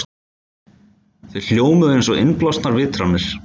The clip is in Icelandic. Þau hljómuðu einsog innblásnar vitranir.